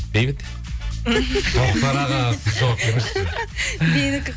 бейбіт тоқтар аға сіз жауап беріңізші менікі